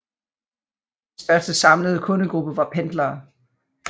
Den største samlede kundegruppe var pendlere